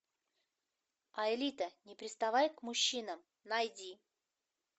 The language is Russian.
аэлита не приставай к мужчинам найди